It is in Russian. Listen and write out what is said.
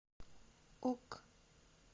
ок